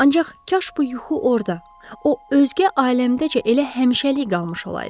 Ancaq kaş bu yuxu orda, o özgə aləmdəcə elə həmişəlik qalmış olaydı.